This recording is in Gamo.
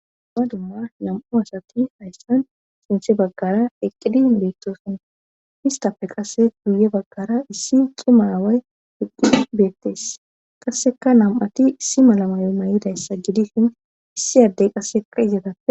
Dumma nam7u asati hayssan sintse baggara eqqidin beettosin histafe qase guye baggara issi cimaway eqqid beettes qasseka nam7ati issi malamayo may7idayssa gidisin issi addey qasse izetappe